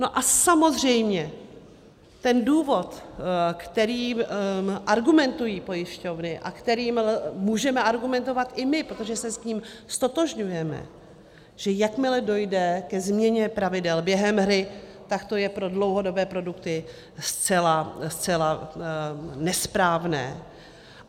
No a samozřejmě ten důvod, kterým argumentují pojišťovny a kterým můžeme argumentovat i my, protože se s ním ztotožňujeme, že jakmile dojde ke změně pravidel během hry, tak to je pro dlouhodobé produkty zcela nesprávné.